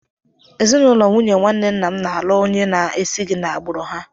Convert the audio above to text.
Ezinụlọ nwunye nwanne nna m na-alụ onye na-esighị na-agbụrụ ha.